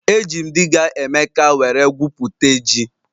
Eji m diga Emeka were gwu pute ji